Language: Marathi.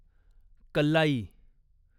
कल्लाई